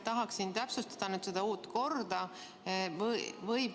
Tahaksin täpsustada seda uut korda.